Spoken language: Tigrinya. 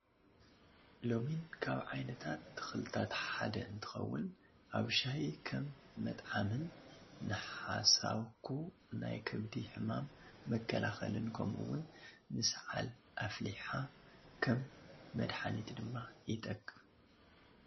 ለሚን ካብ ዓይነታት ተክልታት ሓደ እንትከውን ኣብ ሻሂ ከምመጥዓምን ንሓሳኩ ናይ ከብዲ ሕማም መከላከልን ከምኡውን ንሳዓል ኣፍሊሒሓ ከም መድሓኒት ድማ ይጠቅም።